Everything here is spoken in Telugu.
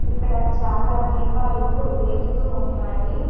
ఇక్కడ చాలా దీపాలు వెలుగుతూ ఉన్నాయి.